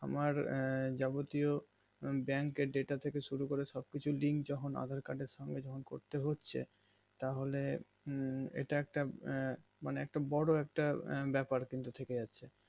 আমার যাবতীয় bank আর data থেকে শুরুকরে সবকিছুর link যখন aadhaar card এর সঙ্গে যখন করতে হচ্ছে তাহলে এটা একটা আঃ মানে বোরো একটা ব্যাপার কিন্তু থেকে যাচ্ছে